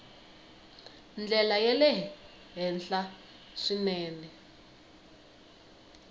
ndlela ya le henhla swinene